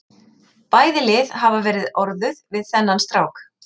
Bæði lið hafa verið orðuð við þennan strák.